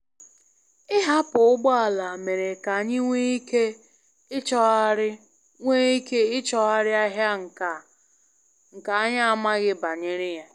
Ịhapụ ụgbọ ala mere ka anyị nwee ike ịchọgharị nwee ike ịchọgharị ahịa nka anyị amaghị banyere ya.